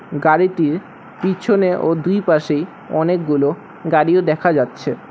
গাড়িটির পিছনে ও দুই পাশেই অনেকগুলো গাড়িও দেখা যাচ্ছে।